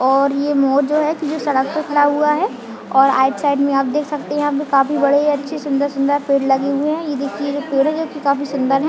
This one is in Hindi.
और ये मोर जो है जो की सड़क पे खड़ा हुआ है और आइड साइड में आप देख सकते है जो यहाँ काफी बड़े अच्छे सुंदर- सुंदर पेड़ लगे हुए है ये देखिये जो पेड़ भी काफी सुंदर है।